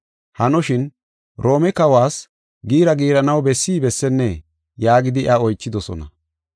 Hanoshin, Roome kawas giira giiranaw bessi bessennee?” yaagidi iya oychidosona.